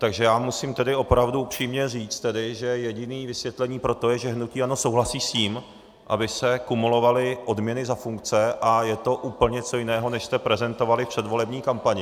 Takže já musím tedy opravdu upřímně říct tedy, že jediné vysvětlení pro to je, že hnutí ANO souhlasí s tím, aby se kumulovaly odměny za funkce, a je to úplně něco jiného, než jste prezentovali v předvolební kampani.